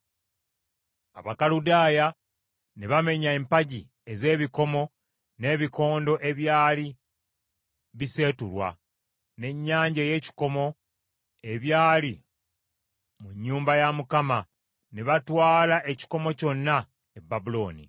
Abakaludaaya ne bamenya empagi ez’ebikomo, n’ebikondo ebyali biseetulwa, n’Ennyanja ey’ekikomo, ebyali mu nnyumba ya Mukama ne batwala ekikomo kyonna e Babulooni.